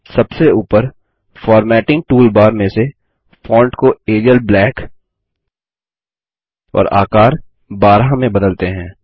सबसे ऊपर formatting toolbar में से फ़ॉन्ट को एरियल ब्लैक और आकार 12 में बदलते हैं